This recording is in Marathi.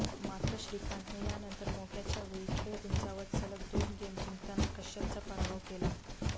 मात्र श्रीकांतने यानंतर मोक्याच्या वेळी खेळ उंचावत सलग दोन गेम जिंकताना कश्यपचा पराभव केला